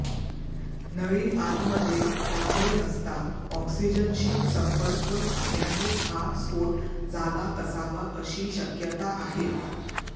नळी आतमध्ये टाकली असता ऑक्सिजनशी संपर्क आल्यानेच हा स्फोट झाला असावा अशी शक्यता आहे